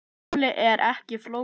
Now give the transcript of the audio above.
Málið er ekki flókið.